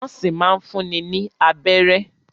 Nọ́ọ́sì máa n fúnni ní abẹ́rẹ́.